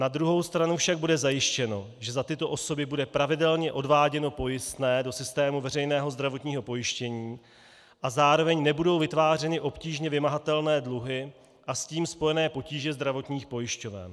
Na druhou stranu však bude zajištěno, že za tyto osoby bude pravidelně odváděno pojistné do systému veřejného zdravotního pojištění a zároveň nebudou vytvářeny obtížně vymahatelné dluhy a s tím spojené potíže zdravotních pojišťoven.